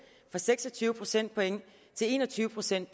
seks og tyve procent til en og tyve procent